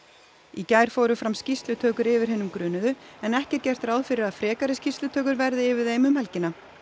í gær fóru fram skýrslutökur yfir hinum grunuðu en ekki er gert ráð fyrir að frekari skýrslutökur verði yfir þeim um helgina